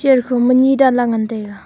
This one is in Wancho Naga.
chair kho ma ni dan lah ley ngan taiga.